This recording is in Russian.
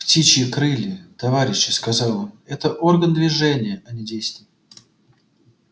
птичьи крылья товарищи сказал он это орган движения а не действий